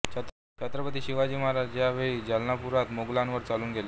छत्रपती शिवाजी महाराज ह्या वेळी जलनापुरात मोगलांवर चालून गेले